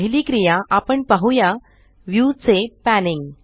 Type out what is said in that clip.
पहिली क्रिया आपण पाहुया व्यू चे पॅनिंग